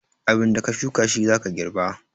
Abinda ka shuka shi zaka girba.